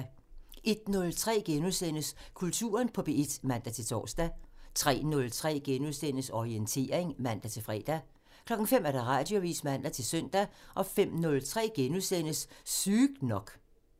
01:03: Kulturen på P1 *(man-tor) 03:03: Orientering *(man-fre) 05:00: Radioavisen (man-søn) 05:03: Sygt nok *(man)